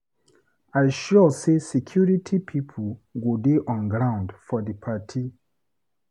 I sure sey security pipo go dey on ground for di party.